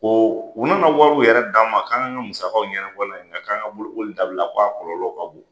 Ko u nana wariw yɛrɛ d'a ma k'an ka musagaw yɛnɛbɔ n'a ye nka k'an ka bolokoli dabila k'a kɔlɔlɔ ka bon!